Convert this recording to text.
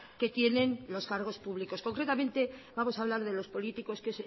que tienen los cargos públicos concretamente vamos a hablar de los políticos que